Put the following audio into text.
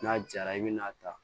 N'a jara i bi n'a ta